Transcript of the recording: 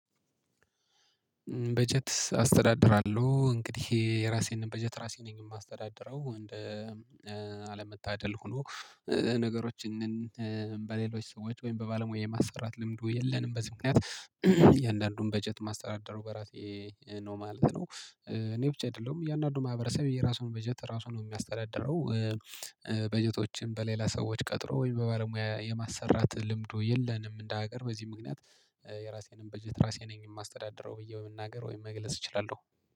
በጀት አስተዳድራለሁ እንግዲህ የራሴን በጀት ራሴ ነኝ የማስተዳድረው አለመታደል ሆኖ ነገሮችን በሌሎች ሰዎች ወይም በባለሙያ የማሰራት ልምዱ የለንም በዚህ ምክንያት እያንዳንዱን በጀት ማስተዳደረው በራሴ ነው ማለት ነው። እኔ ብቻ አይደለሁም እያንዳንዱ ማህበረሰብ የራሱን በጀት ራሱን ነው የሚያስተዳድረው። በጀቶችን በሌላ ሰዎች ቀጥሮ ወይም በባለሙያ የማሰራት ልምዱ የለንም እንደ ሀገር በዚህ ምክንያት። የራሴንም በጀት ራሴንም የማስተዳደረው ብዬ በመናገር ወይም መግለጽ እችላለሁ።